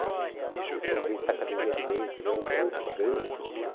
Foi presidente da Academia de Letras, era um grande, uma grande figura.